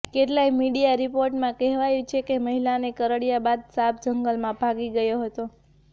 કેટલાંય મીડિયા રિપોર્ટમાં કહેવાયું છે કે મહિલાને કરડ્યા બાદ સાપ જંગલમાં ભાગી ગયો હતો